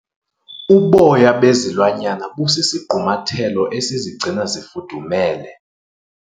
Uboya bezilwanyana busisigqumathelo esizigcina zifudumele.